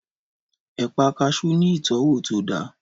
Ẹ̀pà kaasú ní ìtọ́wò tó dáa